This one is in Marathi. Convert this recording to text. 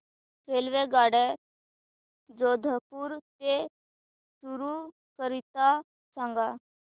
रेल्वेगाड्या जोधपुर ते चूरू करीता सांगा